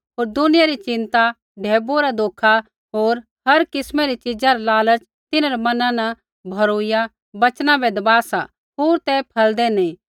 होर दुनिया री चिंता ढैबुऐ रा धोखा होर हर किस्मै री च़ीज़ा रा लालच तिन्हरै मना न भौरूइया वचना बै दबा सा होर ते फलदै नी